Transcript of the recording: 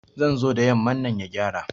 Zai zo da yamman nan ya gyara